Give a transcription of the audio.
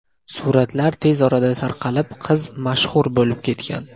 Suratlar tez orada tarqalib, qiz mashhur bo‘lib ketgan.